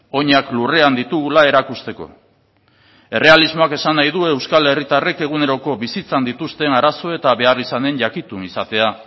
oinak lurrean ditugula erakusteko errealismoak esan nahi du euskal herritarrek eguneroko bizitzan dituzten arazo eta beharrizanen jakitun izatea